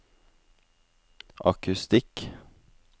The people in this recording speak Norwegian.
akustikk